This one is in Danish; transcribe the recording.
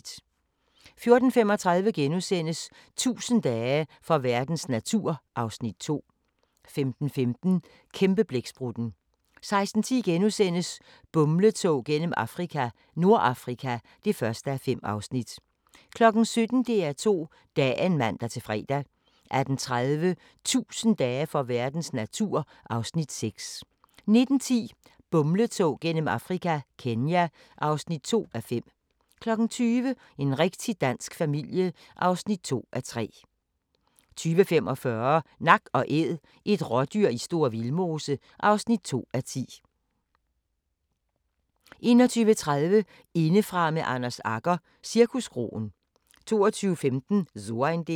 14:35: 1000 dage for verdens natur (Afs. 2)* 15:15: Kæmpeblæksprutten 16:10: Bumletog gennem Afrika - Nordafrika (1:5)* 17:00: DR2 Dagen (man-fre) 18:30: 1000 dage for verdens natur (Afs. 6) 19:10: Bumletog gennem Afrika – Kenya (2:5) 20:00: En rigtig dansk familie (2:3) 20:45: Nak & Æd – et rådyr i Store Vildmose (2:10) 21:30: Indefra med Anders Agger – Cirkuskroen 22:15: So ein Ding